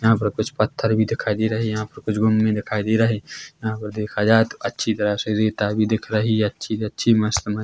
यहाँ पर कुछ पत्थर भी दिखाई दे रहे है यहाँ पर कुछ भूमि भी दिखाई दे रहे है यहाँ पर देखा जाये तो अच्छी तरह से रेता भी दिख रही है अच्छी-अच्छी मस्त म--